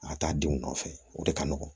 A ka taa denw nɔfɛ o de ka nɔgɔn